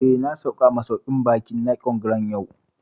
Eh, na sauka a masauƙin baƙin Nicon Grand yau